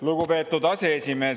Lugupeetud aseesimees!